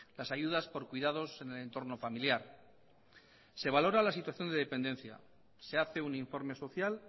las ayudas por cuidados en el entorno familiar se valora la situación de dependencia se hace un informe social